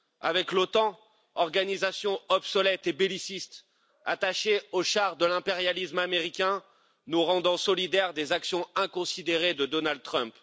Avec l'OTAN, organisation obsolète et belliciste attachée au char de l'impérialisme américain, nous rendant solidaires des actions inconsidérées de Donald Trump?